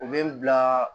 U bɛ n bila